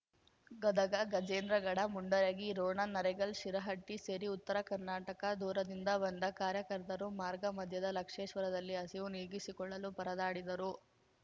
ಗದಗ ಗಜೇಂದ್ರಗಡ ಮುಂಡರಗಿ ರೋಣ ನರೆಗಲ್ಶಿರಹಟ್ಟಿ ಸೇರಿ ಉತ್ತರ ಕರ್ನಾಟಕ ದೂರದಿಂದ ಬಂದ ಕಾರ್ಯಕರ್ತರು ಮಾರ್ಗ ಮಧ್ಯದ ಲಕ್ಷೇಶ್ವರದಲ್ಲಿ ಹಸಿವು ನೀಗಿಸಿಕೊಳ್ಳಲು ಪರದಾಡಿದರು